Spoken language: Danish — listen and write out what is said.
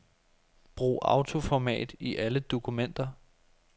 Brug autoformat i alle dokumenter.